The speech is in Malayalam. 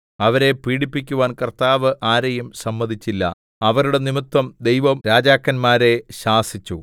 അവരെ പീഡിപ്പിക്കുവാൻ കർത്താവ് ആരെയും സമ്മതിച്ചില്ല അവരുടെ നിമിത്തം ദൈവം രാജാക്കന്മാരെ ശാസിച്ചു